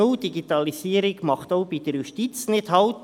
Die Digitalisierung macht auch vor der Justiz nicht Halt.